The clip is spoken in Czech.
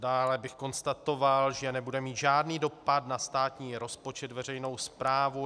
Dále bych konstatoval, že nebude mít žádný dopad na státní rozpočet, veřejnou správu.